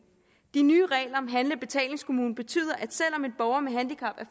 de nye regler om handle og betalingskommune betyder at selv om en borger med handicap